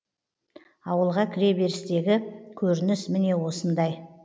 ауылға кіреберістегі көрініс міне осындай